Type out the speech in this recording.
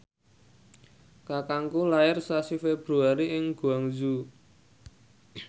kakangku lair sasi Februari ing Guangzhou